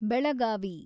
Belagavi